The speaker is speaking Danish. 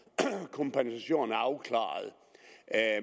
kompensation er afklaret